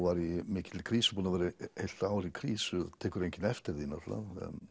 var ég í mikilli krísu búinn að vera heilt ár í krísu tekur enginn eftir því náttúrulega